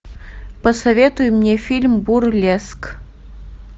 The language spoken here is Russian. посоветуй мне фильм бурлеск